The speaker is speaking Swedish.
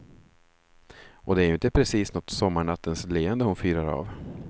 Och det är ju inte precis något sommarnattens leende hon fyrar av.